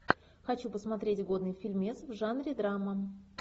хочу посмотреть годный фильмец в жанре драма